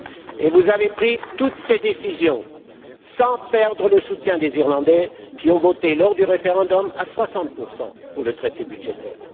Et vous avez pris toutes ces décisions sans perdre le soutien des Irlandais, qui ont voté, lors du référendum, à 60 pour le traité budgétaire.